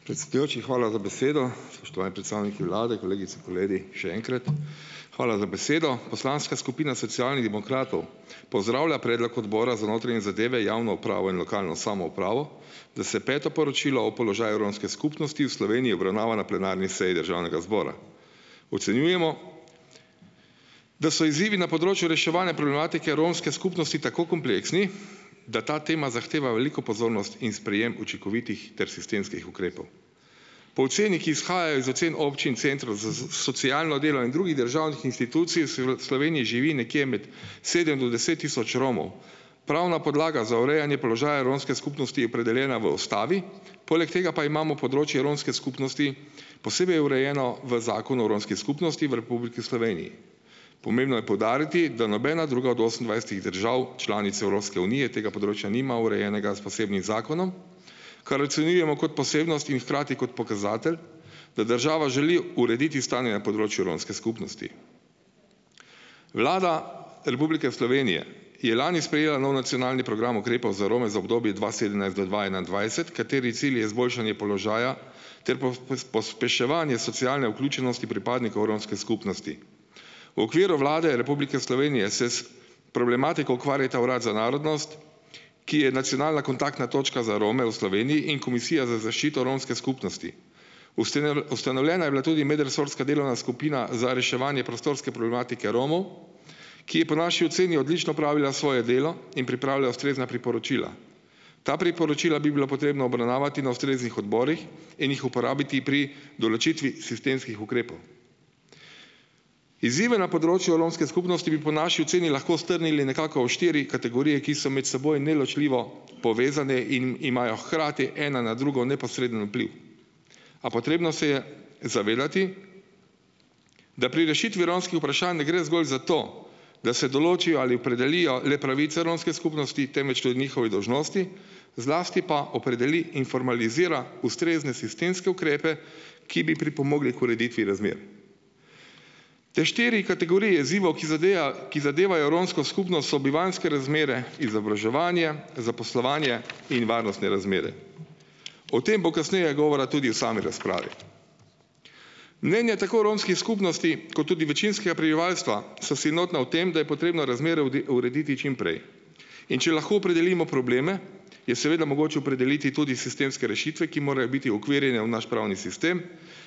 Predsedujoči, hvala za besedo, spoštovani predstavniki vlade, kolegice, kolegi, še enkrat, hvala za besedo. Poslanska skupina Socialnih demokratov pozdravlja predlog odbora za notranje zadeve, javno upravno in lokalno samoupravo, da se peto poročilo o položaju romske skupnosti v Sloveniji obravnava na plenarni seji državnega zbora. Ocenjujemo, da so izzivi na področju reševanja problematike romske skupnosti tako kompleksni, da ta tema zahteva veliko pozornost in sprejem učinkovitih ter sistemskih ukrepov. Po oceni, ki izhajajo iz ocen občin in centrov za za socialno delo in drugih državnih inštitucij, v Sloveniji živi nekje med sedem do deset tisoč Romov. Pravna podlaga za urejanje položaja romske skupnosti je opredeljena v ustavi, poleg tega pa imamo področje romske skupnosti posebej urejeno v Zakonu o romski skupnosti v Republiki Sloveniji. Pomembno je poudariti, da nobena druga od osemindvajsetih držav članic Evropske unije tega področja nima urejenega s posebnim zakonom, kar ocenjujemo kot posebnost in hkrati kot pokazatelj, da država želi urediti stanje na področju romske skupnosti. Vlada Republike Slovenije je lani sprejela nov nacionalni program ukrepov za Rome za obdobje dva sedemnajst do dva enaindvajset, kateri cilj je izboljšanje položaja ter pospeševanje socialne vključenosti pripadnikov romske skupnosti. V okviru Vlade Republike Slovenije se s problematiko ukvarjata Urad za narodnost, ki je nacionalna kontaktna točka za Rome v Sloveniji, in Komisija za zaščito romske skupnosti. Ustanovljena je bila tudi medresorska delovna skupina za reševanje prostorske problematike Romov, ki po naši oceni odlično opravila svoje delo in pripravila ustrezna priporočila. Ta priporočila bi bilo potrebno obravnavati na ustreznih odborih in jih uporabiti pri določitvi sistemskih ukrepov. Izzive na področju romske skupnosti bi po naši oceni lahko strnili nekako v štiri kategorije, ki so med seboj neločljivo povezane in imajo hkrati ena na drugo neposreden vpliv. Pa potrebno se je zavedati, da pri rešitvi romskih vprašanj ne gre zgolj za to, da se določijo ali opredelijo le pravice romske skupnosti, temveč tudi njihove dolžnosti, zlasti pa opredeli in formalizira ustrezne sistemske ukrepe, ki bi pripomogli k ureditvi razmer. Te štiri kategorije izzivov, ki ki zadevajo romsko skupnost so bivanjske razmere, izobraževanja, zaposlovanje in varnostne razmere. O tem bo kasneje govora tudi v sami razpravi. Mnenja tako romskih skupnosti kot tudi večinskega prebivalstva so si enotna v tem, da je potrebno razmere urediti čim prej, in če lahko opredelimo probleme, je seveda mogoče opredeliti tudi sistemske rešitve, ki morajo biti uokvirjene v naš pravni sistem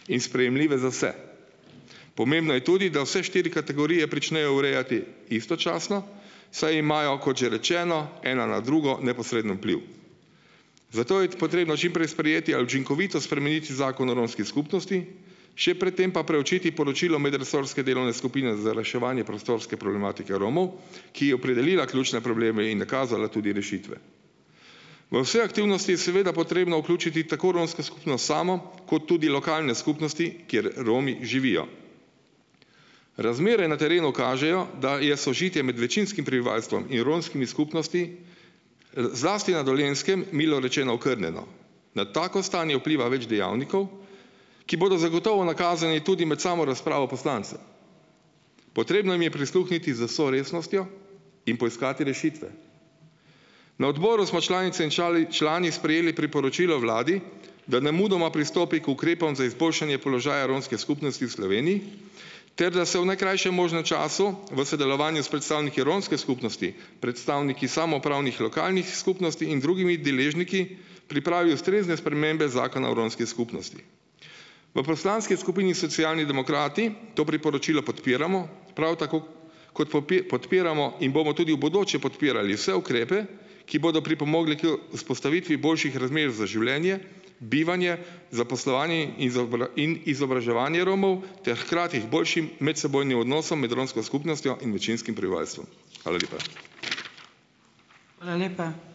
in sprejemljive za vse. Pomembno je tudi, da vse štiri kategorije pričnejo urejati istočasno, saj imajo, kot že rečeno, ena na drugo neposreden vpliv. Zato je potrebno čim prej sprejeti ali učinkovito spremeniti Zakon o romski skupnosti, še pred tem pa preučiti poročilo medresorske delovne skupine za reševanje prostorske problematike Romov, ki je opredelila ključne probleme in nakazala tudi rešitve. V vse aktivnosti je seveda potrebno vključiti tako romsko skupnost samo kot tudi lokalne skupnosti, kjer Romi živijo. Razmere na terenu kažejo, da je sožitje med večinskim prebivalstvom in romskimi skupnosti, zlasti na Dolenjskem milo rečeno okrnjeno. Na tako stanje vpliva več dejavnikov, ki bodo zagotovo nakazani tudi med samo razpravo poslancev. Potrebno jim je prisluhniti z vso resnostjo in poiskati rešitve. Na odboru smo članice in člani sprejeli priporočilo vladi, da nemudoma pristopi k ukrepom za izboljšanje položaja romske skupnosti v Sloveniji ter da se v najkrajšem možnem času v sodelovanju s predstavniki romske skupnosti, predstavniki samoupravnih lokalnih skupnosti in drugimi deležniki pripravi ustrezne spremembe Zakona o romski skupnosti. V poslanski skupini Socialni demokrati to priporočilo podpiramo. Prav tako, kot podpiramo in bomo tudi v bodoče podpirali vse ukrepe, ki bodo pripomogli k vzpostavitvi boljših razmer za življenje, bivanje, zaposlovanje in izobraževanje Romov ter hkrati k boljšim medsebojnim odnosom med romsko skupnostjo in večinskim prebivalstvom. Hvala lepa.